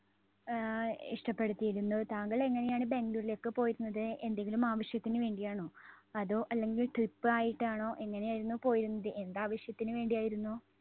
ആഹ് ഇഷ്ടപ്പെടുത്തിയിരുന്നു. താങ്കൾ എങ്ങനെയാണ് ബാംഗ്ലൂരിലേക്ക് പോയിരുന്നത്? എന്തെങ്കിലും ആവശ്യത്തിന് വേണ്ടിയാണോ? അതോ അല്ലെങ്കിൽ trip ആയിട്ടാണോ? എങ്ങനെയായിരുന്നു പോയിരുന്നത്? എന്താവശ്യത്തിന് വേണ്ടി ആയിരുന്നു?